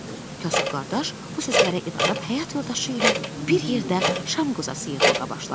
Kasıb qardaş bu sözlərə inanib həyat yoldaşı ilə bir yerdə şam qozası yığmağa başladı.